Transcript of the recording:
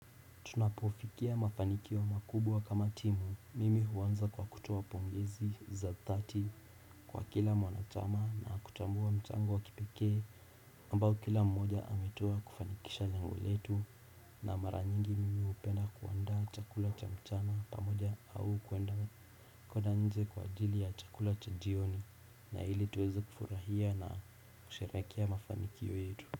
Tunapofikia mafanikio makubwa kama timu mimi huanza kwa kutoa pongezi za dhati kwa kila mwanachama na kutambua mchango wa kipekee ambao kila mmoja ametoa kufanikisha lengo letu na mara nyingi mimi hupenda kuandaa chakula cha mchana pamoja au kwenda kwenda nje kwa ajili ya chakula cha jioni na ili tuweze kufurahia na kusherehekea mafanikio yetu.